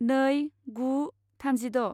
नै गु थामजिद'